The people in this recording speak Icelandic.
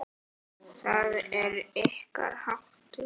Það er ykkar háttur.